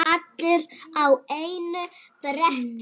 Allir á einu bretti.